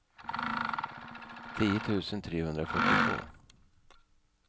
tio tusen trehundrafyrtiotvå